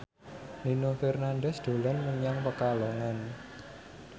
Nino Fernandez dolan menyang Pekalongan